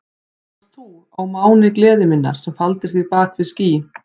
Það varst þú, ó máni gleði minnar, sem faldir þig á bak við ský.